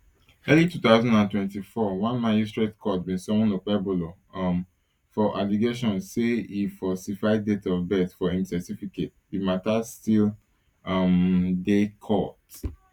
early two thousand and twenty-four one magistrate court bin summon okpebholo um for allegations say e falsify date of birth for im certificate di matter still um dey court